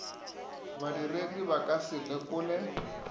badiredi ba ka se lekole